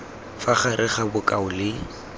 fa gare ga bokao le